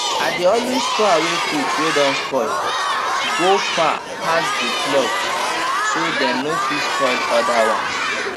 i dey always throway fruits way don spoil go far pass the plot so dem no fit spoil oda ones